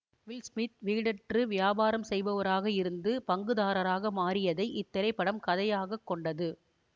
will Smith வீடற்று வியாபாரம் செய்பவராக இருந்து பங்குதாரராக மாறியதை இத்திரைப்படம் கதையாகக் கொண்டது